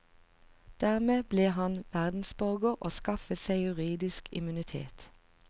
Dermed ble han verdensborger og skaffet seg juridisk immunitet.